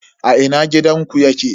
A ina gidanku yake?